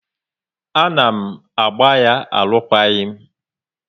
A na m agba ya alukwaghi m